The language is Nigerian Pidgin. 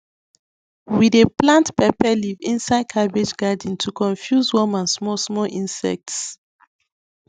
we dey plant pepper leaf inside cabbage garden to confuse worm and smallsmall inects